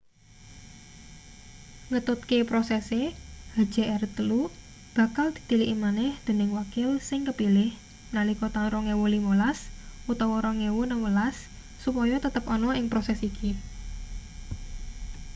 ngetutke prosese hjr-3 bakal ditiliki maneh dening wakil sing kepilih nalika taun 2015 utawa 2016 supaya tetep ana ing proses iki